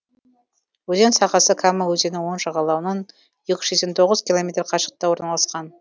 өзен сағасы кама өзенінің оң жағалауынан екі жүз сексен тоғыз километр қашықтықта орналасқан